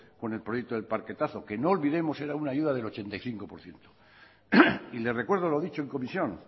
con el proyecto del parquetazo que no olvidemos que era una ayuda del ochenta y cinco por ciento y le recuerdo lo dicho en comisión